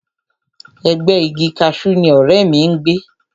Ẹ̀gbẹ́ẹ igi kaṣú ni ọ̀rẹ́ mi ń gbé